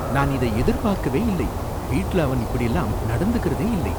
நான் இதை எதிர்பாக்கவே இல்லை. வீட்டுல அவன் இப்படில்லாம் நடந்துக்குறதே இல்லை.